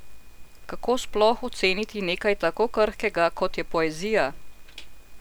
Kako sploh oceniti nekaj tako krhkega, kot je poezija?